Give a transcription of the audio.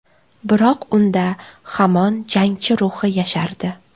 Biroq unda hamon jangchi ruhi yashardi.